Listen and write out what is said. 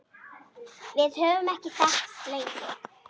Við höfum þekkst lengi.